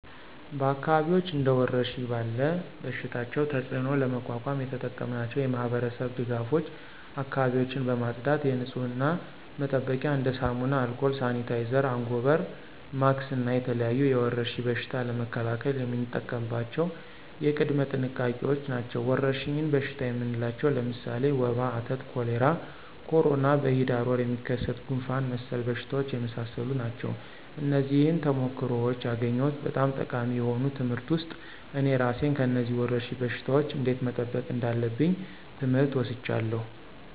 በአካባቢዎች እንደ ወረርሽኝ ያለ በሽታቸው ተፅእኖ ለመቋቋም የተጠቀምናቸው የማህበረሰብ ድጋፎች አካባቢዎችን በማፅዳት የንፅህና መጠበቂያ እንደ ሳሙና፣ አልኮል፣ ሳኒታይዘር፣ አንጎበር፣ ማክስ እና የተለያዩ የወረርሽኝ በሽታ ለመከላከል የምንጠቀምባቸው ቅድመ ጥንቃቄዎች ናቸው። ወረርሽኝ በሽታ የምንላቸው ለምሳሌ ወባ፣ አተት፣ ኮሌራ፣ ኮሮና፣ በሂዳር ወር የሚከሰት ጉንፍን መሰል በሽታዎች የመሳሰሉ ናቸው። ከነዚህም ተሞክሮዎች ያገኘሁት በጣም ጠቃሚ የሆኑ ትምህርት ውስጥ እኔ እራሴን ከነዚህ ወረርሽኝ በሽታወች እንዴት መጠበቅ እንዳለብኝ ትምህር ወስጃለሁ።